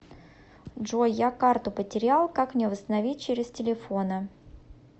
джой я карту потерял как мне восстановить через телефона